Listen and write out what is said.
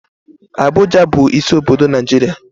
Abụja bu isi obodo Naijiria